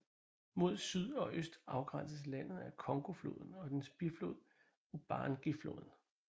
Mod syd og øst afgrænses landet af Congofloden og dens biflod Ubangifloden